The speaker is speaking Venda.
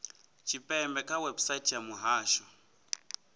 tshipembe kha website ya muhasho